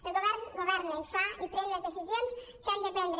el govern governa i fa i pren les decisions que ha de prendre